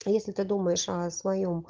если ты думаешь о своём